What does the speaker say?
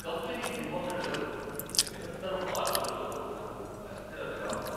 Company నిర్వహణలో నిరంతర మార్పులతో నాకు అస్థిరతగా ఉంది.